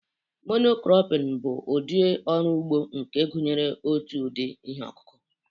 Mono-cropping bụ ụdị ọrụ ugbo nke gụnyere otu ụdị ihe ọkụkụ